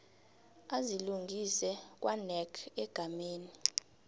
azilungise kwanac egameni